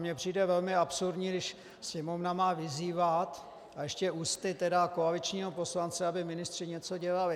Mně přijde velmi absurdní, když Sněmovna má vyzývat, a ještě ústy koaličního poslance, aby ministři něco dělali.